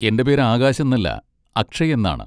എന്റെ പേര് ആകാശ് എന്നല്ല, അക്ഷയ് എന്നാണ്.